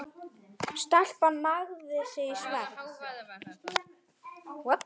Stelpan nagaði sig í svefn.